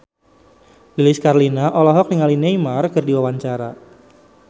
Lilis Karlina olohok ningali Neymar keur diwawancara